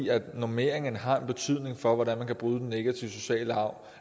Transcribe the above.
normeringen har en betydning for hvordan man kan bryde den negative sociale arv